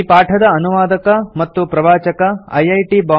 ಈ ಪಾಠದ ಅನುವಾದಕ ಮತ್ತು ಪ್ರವಾಚಕ ಐಐಟಿ